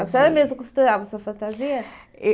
A senhora mesmo costurava sua fantasia?